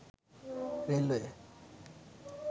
railway